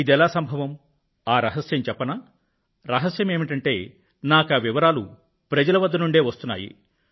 ఇదెలా సంభవం ఆ రహస్యం చెప్పనా రహస్యమేమిటంటే నాకా వివరాలు ప్రజల వద్ద నుండే వస్తున్నాయి